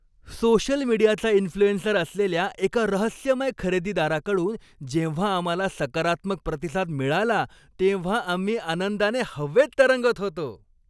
Social मीडियाचा influencer असलेल्या एका रहस्यमय खरेदीदाराकडून जेव्हा आम्हाला सकारात्मक प्रतिसाद मिळाला तेव्हा आम्ही आनंदाने हवेत तरंगत होतो.